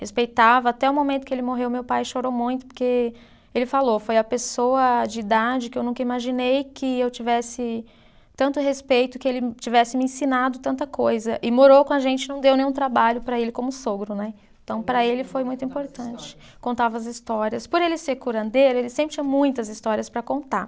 Respeitava até o momento que ele morreu meu pai chorou muito porque ele falou foi a pessoa de idade que eu nunca imaginei que eu tivesse tanto respeito que ele tivesse me ensinado tanta coisa, e morou com a gente não deu nenhum trabalho para ele, como sogro né, então para ele foi muito importante. Contava as histórias, por ele ser curandeiro ele sempre tinha muitas histórias para contar